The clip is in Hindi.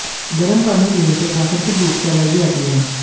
गरम पानी पीने से प्राकृतिक रूप से एनर्जी आती है